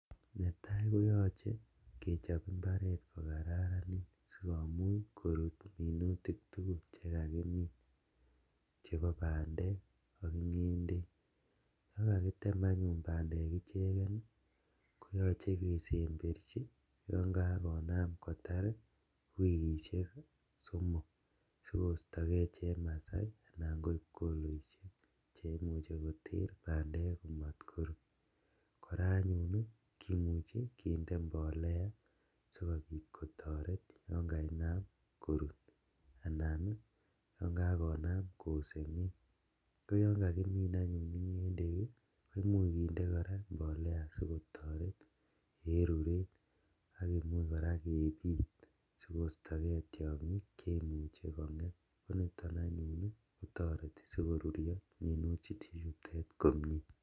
Netaa kotoche kechop imbaret kokaranit sikomuch korut minutik tugul chekakimin chebo bandek ak ingendek ,yon kakimin anyun bandek ii koyoche kesemberji yon kakonam kotar wikisiek somok sikostogee chemasai anan ko ipkoloishek cheimuche koter bandek komot korut , koraa anyun kimuche kinde mbolea sikotoret yon kainam korut anan yon kainam kisengeng , kouon kakimin anyun ingendek ii komuch kindee koraa mbolea sikotoret en ruret ak kinam koraa kebit sikostogee tiongik cheimuche kongem koniton anyun kotoreti sikorurio minutichutet komie.